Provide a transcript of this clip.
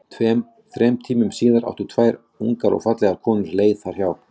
Tveim, þrem tímum síðar áttu tvær ungar og fallegar konur leið þarna hjá.